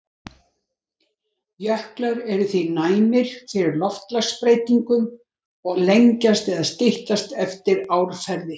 Jöklar eru því næmir fyrir loftslagsbreytingum og lengjast eða styttast eftir árferði.